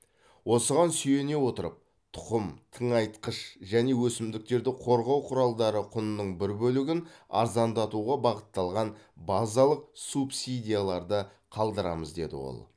осыған сүйене отырып тұқым тыңайтқыш және өсімдіктерді қорғау құралдары құнының бір бөлігін арзандатуға бағытталған базалық субсидияларды қалдырамыз деді ол